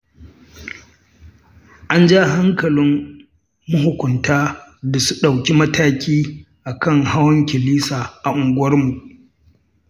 An ja hankalin mahukunta da su ɗauki mataki akan hawan kilisa a unguwarmu.